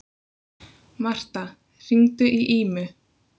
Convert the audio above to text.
Martha, hringdu í Ímu.